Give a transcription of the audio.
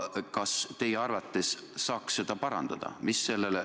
Kas teie arvates saaks seda parandada?